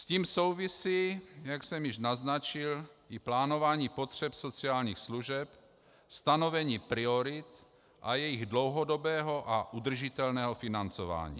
S tím souvisí, jak jsem již naznačil, i plánování potřeb sociálních služeb, stanovení priorit a jejich dlouhodobého a udržitelného financování.